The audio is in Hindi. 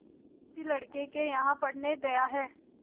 किसी लड़के के यहाँ पढ़ने गया है